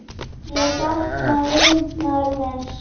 Ég sakna vinar míns.